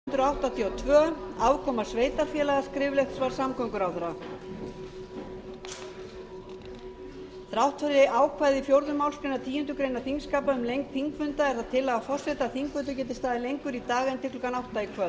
þrátt fyrir ákvæði í fjórðu málsgreinar tíundu greinar þingskapa um lengd þingfunda er það tillaga forseta að þingfundur geti staðið lengur í dag en til klukkan átta í